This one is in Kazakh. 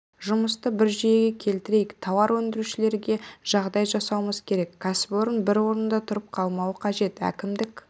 жұмысты бір жүйеге келтірейік тауар өндірушілерге жағдай жасауымыз керек кәсіпорын бір орында тұрып қалмауы қажет әкімдік